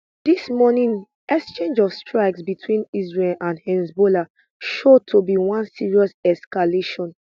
dis morning exchange of strikes between israel and hezbollah show to be one serious escalation